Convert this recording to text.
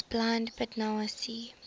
was blind but now see